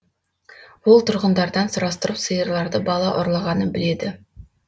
ол тұрғындардан сұрастырып сиырларды бала ұрлағанын біледі